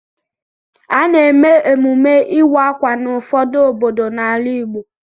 A na-eme emume ịwa ákwà n'ụfọdụ obodo n'ala Igbo.